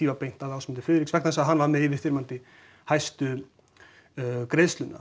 var beint að Ásmundi Friðriks vegna þess að hann var með yfirþyrmandi hæstu